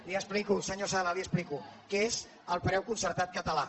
li ho explico senyor sala li ho explico que és el preu concertat català